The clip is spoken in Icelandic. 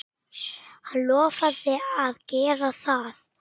Hann lofaði að gera það.